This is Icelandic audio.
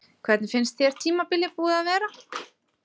Hvernig finnst þér tímabilið búið að vera?